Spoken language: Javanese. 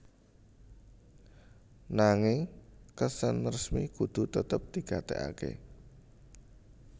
Nanging kesan resmi kudu tetep digatekaké